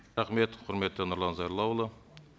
рахмет құрметті нұрлан зайроллаұлы